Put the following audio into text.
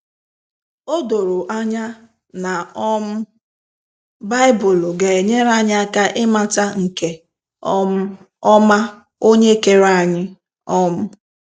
Odoro anya, na um Baịbụlụ ga enyere anyị aka i mata nke um ọma onye kere anyi um.